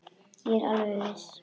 Ég er alveg viss.